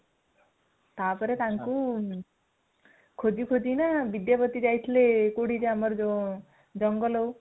ଆଚ୍ଛା ତାପରେ ତାଙ୍କୁ ଖୋଜି ଖୋଜିକିନା ବିଦ୍ୟାପତି ଯାଇଥିଲେ, କୋଉଠିକି ଜେ ଆମର ଯୋଉ ଜଙ୍ଗଲକୁ